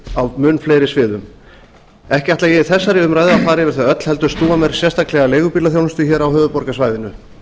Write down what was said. á mun fleiri sviðum ekki ætla ég í þessari umræðu að far yfir þau öll heldur snúa mér sérstaklega að leigubílaþjónustu hér á höfuðborgarsvæðinu